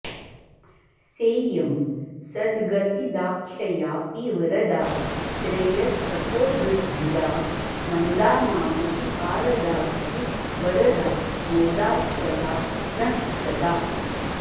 सेयं सद्गतिदाख्ययापि वरदा श्रेयस्तपोवृद्धिदा मन्दानामपि पारदास्तु वरदा मोदास्पदा नः सदा